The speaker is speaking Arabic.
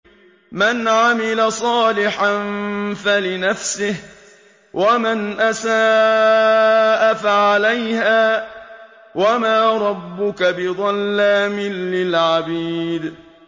مَّنْ عَمِلَ صَالِحًا فَلِنَفْسِهِ ۖ وَمَنْ أَسَاءَ فَعَلَيْهَا ۗ وَمَا رَبُّكَ بِظَلَّامٍ لِّلْعَبِيدِ